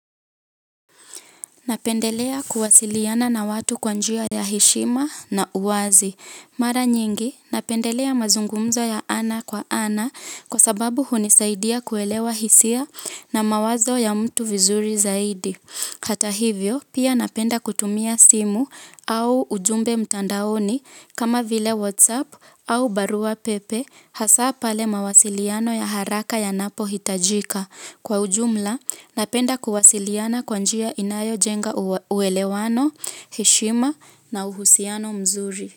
Napendelea kuwasiliana na watu kwa njia ya heshima na uwazi. Mara nyingi, napendelea mazungumzo ya ana kwa ana, kwa sababu hunisaidia kuelewa hisia na mawazo ya mtu vizuri zaidi. Hata hivyo, pia napenda kutumia simu, au ujumbe mtandaoni, kama vile whatsapp, au barua pepe, hasa pale mawasiliano ya haraka, yanapohitajika. Kwa ujumla, napenda kuwasiliana kwa njia inayo jenga uwelewano, heshima na uhusiano mzuri.